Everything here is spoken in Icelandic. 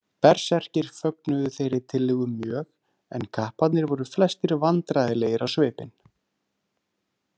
Berserkir fögnuðu þeirri tillögu mjög en kapparnir voru flestir vandræðalegir á svipinn.